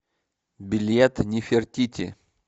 билет нефертити